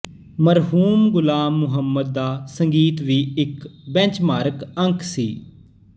ਮਰਹੂਮ ਗੁਲਾਮ ਮੁਹੰਮਦ ਦਾ ਸੰਗੀਤ ਵੀ ਇਕ ਬੈਂਚਮਾਰਕ ਅੰਕ ਸੀ